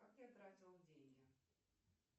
как я тратила деньги